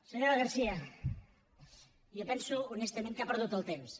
senyora garcía jo penso honestament que ha perdut el temps